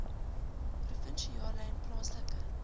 provinsiale en plaaslike